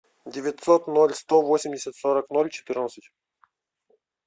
девятьсот ноль сто восемьдесят сорок ноль четырнадцать